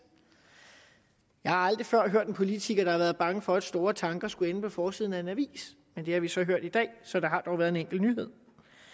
jeg har aldrig før hørt en politiker der har været bange for at store tanker skulle ende på forsiden af en avis men det har vi så hørt i dag så der har dog været en enkelt nyhed